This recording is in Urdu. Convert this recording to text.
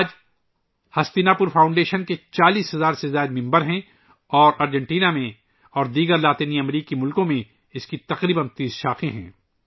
آج ہستینا پور فاؤنڈیشن میں 40 ہزار سے زیادہ ارکان ہیں اور ارجنٹینا اور دیگر لاطینی امریکی ملکوں میں تقریباً 30 شاخیں ہیں